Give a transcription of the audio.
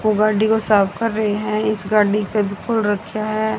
उस गाड़ी को साफ कर रहे हैं इस गाड़ी को बिल्कुल रखे है।